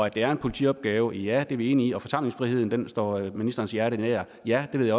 at det er en politiopgave ja det er vi enige om forsamlingsfriheden står ministerens hjerte nær ja det ved